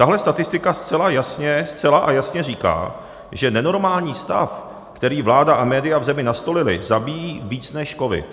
Tahle statistika zcela jasně říká, že nenormální stav, který vláda a média v zemi nastolily, zabíjí více než covid.